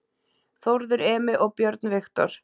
Þórður Emi og Björn Viktor